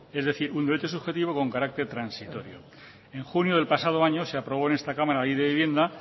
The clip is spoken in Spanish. es decir un derecho subjetivo con carácter transitorio en junio del pasado año se aprobó en esta cámara la ley de vivienda